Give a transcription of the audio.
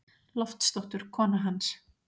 Loftsdóttur, konu hans.